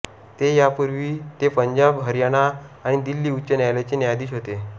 ते यापूर्वी ते पंजाब हरयाणा आणि दिल्ली उच्च न्यायालायाचे न्यायाधीश होते